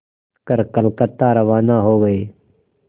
कर कलकत्ता रवाना हो गए